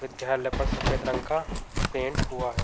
विद्यालय पर सफ़ेद रंग का पेंट हुआ है।